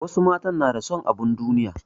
Wasu matan na da son abin duniya.